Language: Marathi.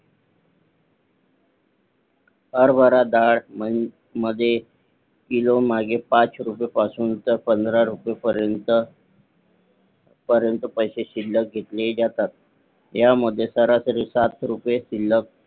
हरभरा डाळ मध्ये किलो मागे पाच रुपये पासून तर पंधरा रुपये पर्यंत पैसे शिल्लक घेतले जातात ह्या मध्ये सरासरी सात रुपये शिल्लक